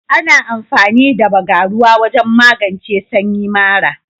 Ana amfani da Bagaruwa wajen magance sanyi mara.